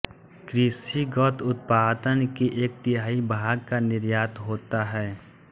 कृषिगत उत्पादन के एक तिहाई भाग का निर्यात होता है